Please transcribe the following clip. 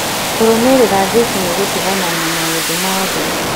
Kũrũmĩrĩra Jesũ nĩ gũtigana na maũndũ ma thĩ